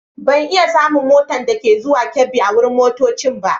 Ban iya samun mota dake zuwan Kebbi a wurin motoccin ba.